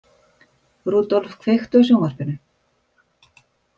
Rudolf, kveiktu á sjónvarpinu.